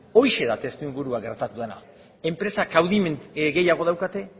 horixe da testu inguruan gertatu dena enpresak kaudimen gehiago daukate